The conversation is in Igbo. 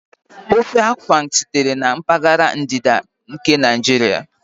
Ofe Afang sitere na mpaghara ndịda nke Naijiria